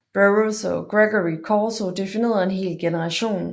Burroughs og Gregory Corso definerede en hel generation